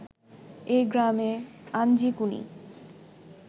এই গ্রামে আঞ্জিকুনি